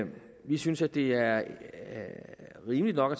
vi synes at det er rimeligt nok at